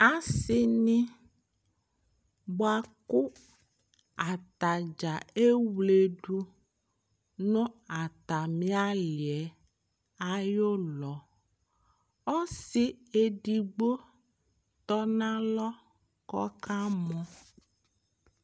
Asi ni boa kʋ atadza ewledʋ nʋ atami ali ayulɔ Ɔsi ɛdigbo tɔ nalɔ kʋ ɔkamɔ